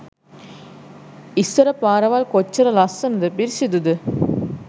ඉස්සර පාරවල් කොච්චර ලස්සනද පිරිසිදුද